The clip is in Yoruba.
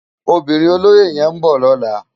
Óbirin ólóyé yèn n bò lòlá